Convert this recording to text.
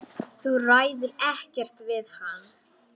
Þú ræður ekkert við hann.